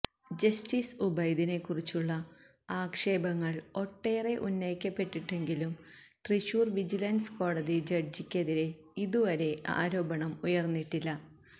justice ഉബൈദിനെ കുറിച്ചുള്ള ആക്ഷേപങ്ങൾ ഒട്ടേറെ ഉന്നയിക്കപ്പെട്ടിട്ടുണ്ടെങ്കിലും തൃശൂർ വിജിലൻസ് കോടതി ജഡ്ജിക്ക് എതിരെ ഇതുവരെ ആരോപണം ഉയർന്നിട്ടില്ല